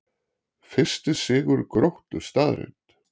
Fyrsti sigur Gróttu staðreynd